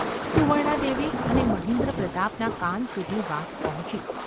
સુવર્ણાદેવી અને મહેન્દ્રપ્રતાપના કાન સુધી વાત પહોંચી.